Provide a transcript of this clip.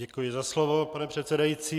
Děkuji za slovo, pane předsedající.